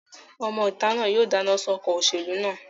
Ọmọ ìta náà yóò dáná sun ọkọ̀ òṣèlú náà